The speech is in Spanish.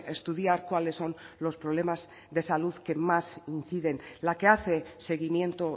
estudiar cuáles son los problemas de salud que más inciden la que hace seguimiento